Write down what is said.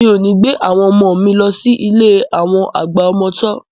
Mi ò ní gbé àwọn ọmọ mi lọ sí ilé àwọn àgbà ọmọ tọ́